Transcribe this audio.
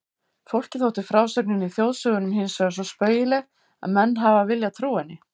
Fólki þótti frásögnin í þjóðsögunum hinsvegar svo spaugileg að menn hafa viljað trúa henni.